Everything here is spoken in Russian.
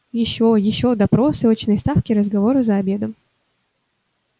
ещё ещё допросы очные ставки разговоры за обедом